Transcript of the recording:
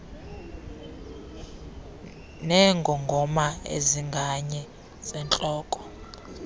neengongoma ezinganye zentloko